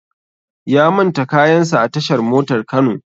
Ya manta kayan sa a tashar motar Kano